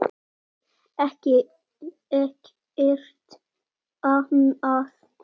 Ekkert annað?